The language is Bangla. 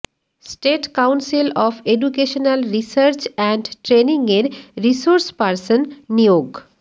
state council of educational research and ট্রেনিংয়ের রিসোর্স পার্সন নিয়োগ